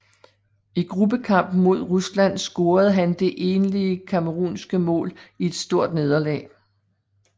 I gruppekampen mod Rusland scorede han det enlige camerounske mål i et stort nederlag